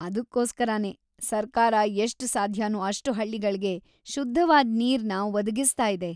ಅದ್ಕೋಸ್ಕರನೇ ಸರ್ಕಾರ ಎಷ್ಟ್ ಸಾಧ್ಯನೋ ಅಷ್ಟ್ ಹಳ್ಳಿಗಳ್ಗೆ ಶುದ್ಧವಾದ್ ನೀರ್‌ನ ಒದಗಿಸ್ತಾ ಇದೆ.